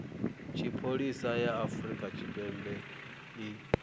tshipholisa ya afrika tshipembe i